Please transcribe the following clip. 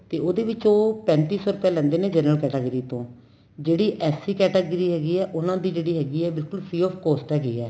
ਤੇ ਉਹਦੇ ਵਿੱਚ ਉਹ ਪੈਂਤੀ ਸੋ ਰੁਪਇਆ ਲੈਂਦੇ ਨੇ general category ਤੋਂ ਜਿਹੜੀ SC category ਹੈਗੀ ਏ ਉਹਨਾ ਦੀ ਜਿਹੜੀ ਹੈਗੀ ਏ ਬਿਲਕੁਲ free of cost ਹੈਗੀ ਏ